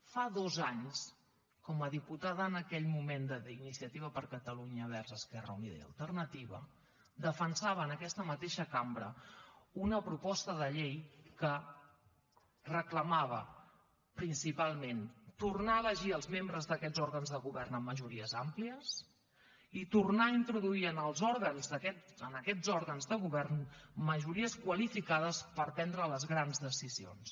fa dos anys com a diputada en aquell moment d’iniciativa per catalunya verds esquerra unida i alternativa defensava en aquesta mateixa cambra una proposta de llei que reclamava principalment tornar a elegir els membres d’aquests òrgans de govern amb majories àmplies i tornar a introduir en aquests òrgans de govern majories qualificades per prendre les grans decisions